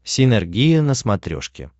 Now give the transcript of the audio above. синергия на смотрешке